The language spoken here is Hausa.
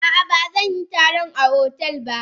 A ah ba zanyi taron a hotel ba.